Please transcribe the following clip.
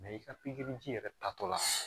i ka pikiriji yɛrɛ tatɔla